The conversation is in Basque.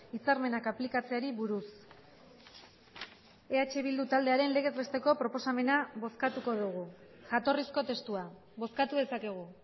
hitzarmenak aplikatzeari buruz eh bildu taldearen legez besteko proposamena bozkatuko dugu jatorrizko testua bozkatu dezakegu